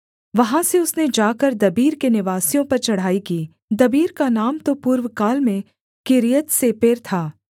वहाँ से उसने जाकर दबीर के निवासियों पर चढ़ाई की दबीर का नाम तो पूर्वकाल में किर्यत्सेपेर था